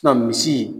misi